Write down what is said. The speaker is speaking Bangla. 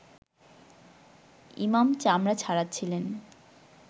ইমাম চামড়া ছাড়াচ্ছিলেন